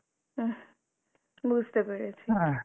উম বুঝতে পেরেছি।